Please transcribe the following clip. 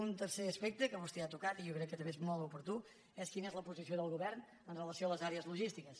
un tercer aspecte que vostè ha tocat i jo crec que també és molt oportú és quina és la posició del govern amb relació a les àrees logístiques